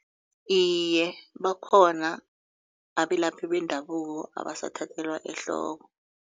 Iye, bakhona abelaphi bendabuko abasathathelwa ehloko.